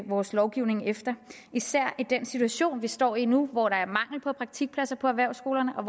vores lovgivning efter især i den situation vi står i nu hvor der er mangel på praktikpladser på erhvervsskolerne og